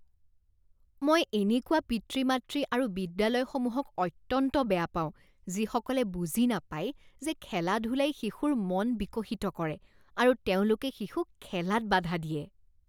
মই এনেকুৱা পিতৃ মাতৃ আৰু বিদ্যালয়সমূহক অত্যন্ত বেয়া পাওঁ যিসকলে বুজি নাপায় যে খেলা ধূলাই শিশুৰ মন বিকশিত কৰে আৰু তেওঁলোকে শিশুক খেলাত বাধা দিয়ে।